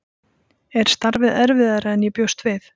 Er starfið erfiðara en ég bjóst við?